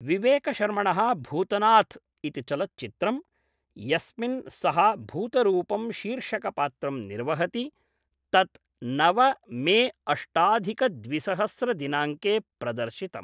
विवेकशर्मणः भूतनाथ् इति चलच्चित्रं, यस्मिन् सः भूतरूपं शीर्षकपात्रं निर्वहति, तत् नव मे अष्टाधिकद्विसहस्रदिनाङ्के प्रदर्शितम्।